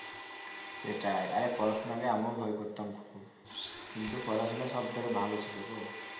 সেটাই আরে পড়াশোনাকে আমিও ভয় করতাম খুব কিন্তু পড়াশোনা সব থেকে ভালো ছিল গো